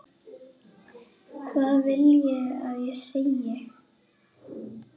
Hvað viljiði að ég segi?